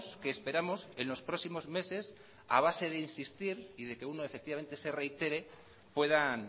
que esperamos en los próximos meses a base de insistir y de que uno se reitere puedan